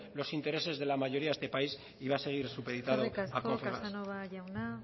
los intereses de la mayoría de este país y va a seguir supeditado a confebask eskerrik asko casanova jauna